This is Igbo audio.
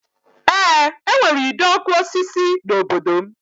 Eé, e nwere ide ọkụ osisi n'obodo m